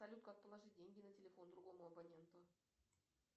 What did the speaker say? салют как положить деньги на телефон другому абоненту